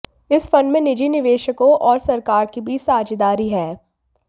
इस फंड में निजी निवेशकों और सरकार के बीच साझेदारी है